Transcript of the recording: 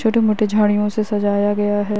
छोटे मोटे झाड़ियों से सजाया गया है।